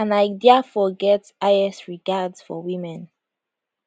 and i diafore get highest regards for women